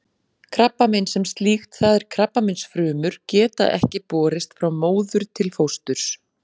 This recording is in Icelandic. Krabbamein sem slíkt, það er krabbameinsfrumur, geta ekki borist frá móður til fósturs.